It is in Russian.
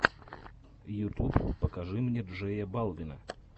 ютуб покажи мне джея балвина